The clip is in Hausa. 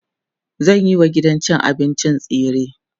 zanyi wa gidan cin abincin tsire